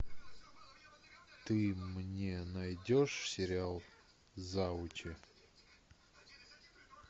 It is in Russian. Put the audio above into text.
ты мне найдешь сериал завучи